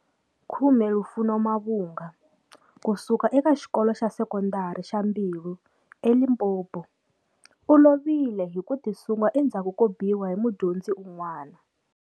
10 Lufuno Mavhunga, kusuka eka Xikolo xa Sekondari xa Mbilwi eLimpopo, u lovile hi ku tisunga endzhaku ko biwa hi mudyondzi un'wana.